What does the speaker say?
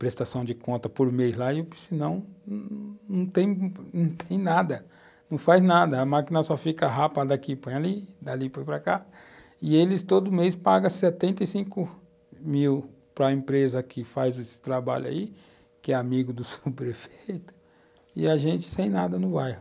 prestação de conta por mês lá e, o piscinão não tem nada, não faz nada, a máquina só fica rápida aqui, põe ali, dali, põe para cá, e eles todo mês pagam setenta e cinco mil para empresa que faz esse trabalho aí, que é amigo do seu prefeito, e a gente sem nada no bairro.